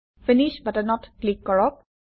finish বাটনত click কৰক